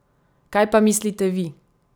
Kaj pa mislite vi?